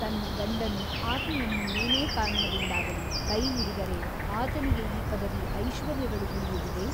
ತನ್ನ ಗಂಡನು ಆಕೆಯನ್ನು ಏನೇ ಕಾರಣದಿಂದಾಗಲಿ ಕೈ ಹಿಡಿದರೆ ಆತನಿಗೆ ಈ ಪದವಿ ಐಶ್ವರ್ಯಗಳು ಉಳಿಯುವುದೇ?